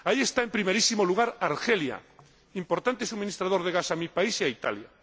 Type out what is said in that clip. Ahí está en primerísimo lugar Argelia, importante suministrador de gas a mi país y a Italia.